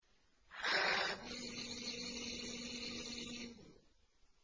حم